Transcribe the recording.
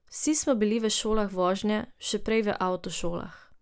Vsi smo bili v šolah vožnje, še prej v avtošolah.